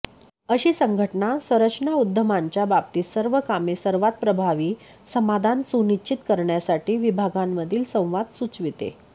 अशी संघटना संरचना उद्यमांच्या बाबतीत सर्व कामे सर्वात प्रभावी समाधान सुनिश्चित करण्यासाठी विभागांमधील संवाद सुचविते